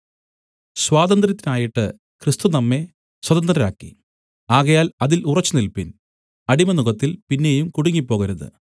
സ്വാതന്ത്ര്യത്തിനായിട്ട് ക്രിസ്തു നമ്മെ സ്വതന്ത്രരാക്കി ആകയാൽ അതിൽ ഉറച്ചുനില്പിൻ അടിമനുകത്തിൽ പിന്നെയും കുടുങ്ങിപ്പോകരുത്